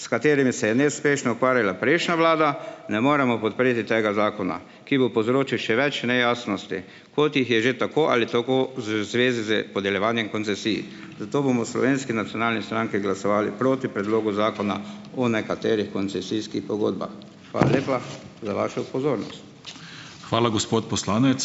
s katerimi se je neuspešno ukvarjala prejšnja vlada, ne moremo podpreti tega zakona, ki bo povzročil še več nejasnosti, kot jih je že tako ali tako z zvezi s podeljevanjem koncesij. Zato bomo v Slovenski nacionalni stranki glasovali proti predlogu zakona o nekaterih koncesijskih pogodbah. Hvala lepa za vašo pozornost. Hvala, gospod poslanec.